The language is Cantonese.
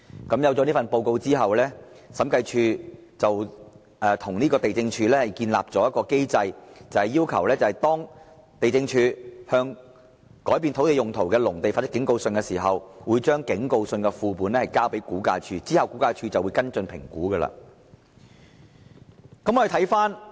因此，在這份報告書發表後，審計署便建議地政總署訂立機制，要求地政總署在向改變土地用途的農地發出警告信時，同時將警告信的副本交給估價署，以便後者作出跟進評估。